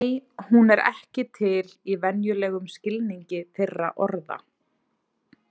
Nei, hún er ekki til í venjulegum skilningi þeirra orða.